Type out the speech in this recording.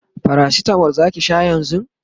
paracetamol Zaki Sha yanzun?